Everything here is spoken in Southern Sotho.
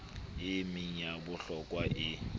e meng ya bohlokwa e